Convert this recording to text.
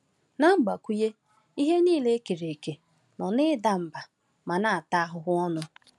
Na mgbakwunye, “ihe niile e kere eke nọ n’ida mba ma na-ata ahụhụ ọnụ.”